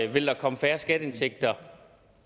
ville der komme færre skatteindtægter